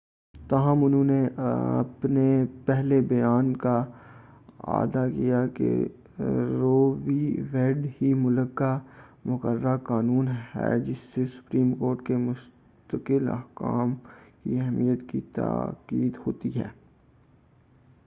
تاہم انہوں نے اپنے پہلے بیان کا اعادہ کیا کہ رو وی ویڈ ہی ملک کا مقررہ قانون ہے جس سے سپریم کورٹ کے مستقل احکام کی اہمیت کی تاکید ہوتی ہے